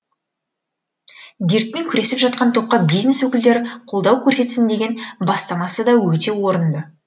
дертпен күресіп жатқан топқа бизнес өкілдері қолдау көрсетсін деген бастамасы да өте орынды